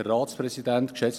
Kommissionssprecher